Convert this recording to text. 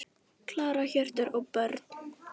Klara, Hjörtur og börn.